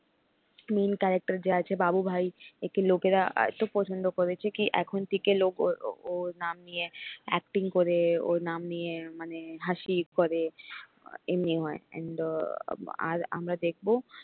main character যে আছে বাবু ভাই একে লোকেরা এত পছন্দ করেছে কি এখন থেকে লোক ওর ওর নাম নিয়ে acting করে ওর নাম নিয়ে মানে হাসি করে এমনি হয় and আর আমরা দেখবো